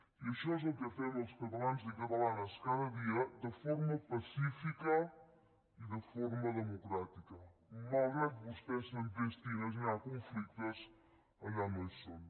i això és el que fem els catalans i catalanes cada dia de forma pacífica i de forma democràtica malgrat que vostès s’entestin a generar conflictes allà on no hi són